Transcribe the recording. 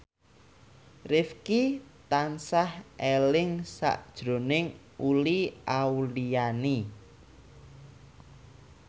Rifqi tansah eling sakjroning Uli Auliani